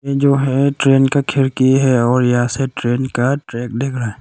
ये जो है ट्रेन का खिड़की है और यहां से ट्रेन का ट्रैक दिख रहा है।